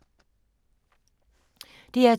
DR2